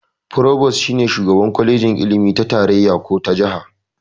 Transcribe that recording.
"Provost" shi ne shugaban kwalejin ilimi ta tarayya ko ta jaha.